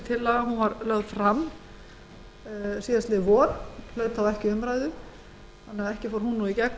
tillagan var lögð fram síðastliðið vor en hlaut ekki umræðu þannig að ekki fór hún nú í gegn